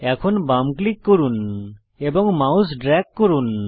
এখন বাম ক্লিক করুন এবং মাউস ড্রেগ করুন